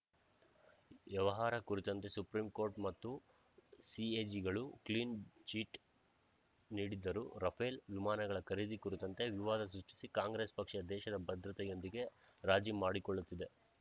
ವ್ಯವಹಾರ ಕುರಿತಂತೆ supreme court ಮತ್ತು ಸಿಎಜಿಗಳು ಕ್ಲೀನ್‌ ಚಿಟ್ ನೀಡಿದ್ದರೂ ರಫೇಲ್ ವಿಮಾನಗಳ ಖರೀದಿ ಕುರಿತಂತೆ ವಿವಾದ ಸೃಷ್ಟಿಸಿ ಕಾಂಗ್ರೆಸ್ ಪಕ್ಷ ದೇಶದ ಭದ್ರತೆಯೊಂದಿಗೆ ರಾಜಿ ಮಾಡಿಕೊಳ್ಳುತ್ತಿದೆ